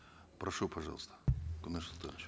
прошу пожалуйста куаныш султанович